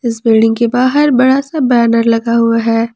इस बिल्डिंग के बाहर बड़ा सा बैनर लगा हुआ है।